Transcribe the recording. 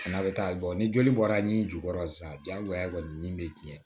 N'a bɛ taa ni joli bɔra n'i jukɔrɔ sisan diyagoya kɔni nin bɛ tiɲɛ